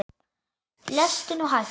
Lestu nú hægt!